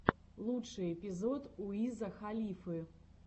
лучший эпизод уиза халифы